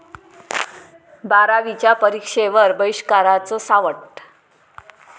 बारावीच्या परीक्षेवर बहिष्काराचं सावट